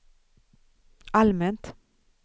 allmänt